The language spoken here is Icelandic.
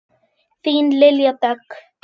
Þín Lilja Dögg.